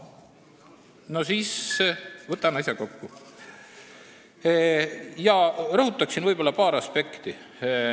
Tohoh, võtan siis asja kokku ja rõhutan paari aspekti.